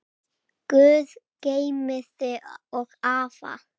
Guð geymi þig og afa.